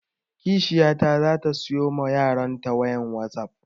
Kishiyata za ta siyo ma yaron ta wayan wasap